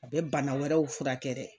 A bɛ bana wɛrɛw furakɛ dɛ